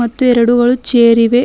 ಮತ್ತು ಎರಡು ಗಳು ಚೇರ್ ಇವೆ.